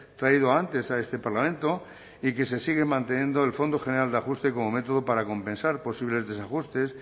traído antes a este parlamento y que se sigue manteniendo el fondo general de ajuste como método para compensar posibles desajustes